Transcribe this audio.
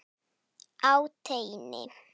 Á teini.